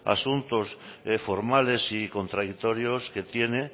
asuntos formales y contradictorios que tiene